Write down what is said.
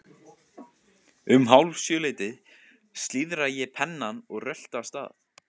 Um hálf sjö leytið slíðra ég pennann og rölti af stað.